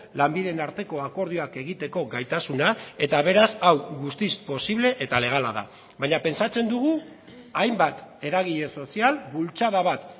lanbideen arteko akordioak egiteko gaitasuna eta beraz hau guztiz posible eta legala da baina pentsatzen dugu hainbat eragile sozial bultzada bat